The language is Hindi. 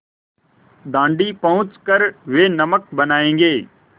दाँडी पहुँच कर वे नमक बनायेंगे